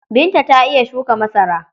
Binta ta iya shuka masara.